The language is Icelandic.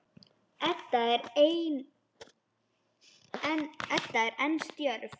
Edda er enn stjörf.